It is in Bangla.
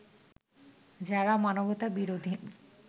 যারা মানবতা বিরোধী